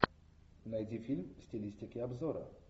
найди фильм в стилистике обзора